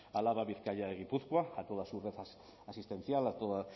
álava bizkaia y gipuzkoa a toda su red asistencial